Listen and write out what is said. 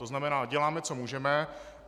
To znamená, děláme, co můžeme.